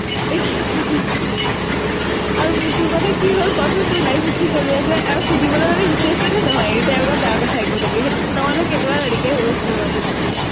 আৰু তোৰ কথা কি হʼল কʼ চোন ? আৰু তোৰ life ত কি চলি আছে ? আৰু সুনিবলৈ হʼলে interested এ নহয় । anytime তাৰ কথা এ কৈ থাকে । তই ও মাজতে তেনেকুৱা হৈ গৈছিলি কেইদিনমান ।